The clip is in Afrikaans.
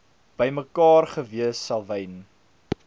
bymekaar gewees selwyn